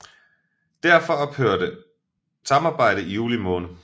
Derfor ophørte samarbejdet i juli måned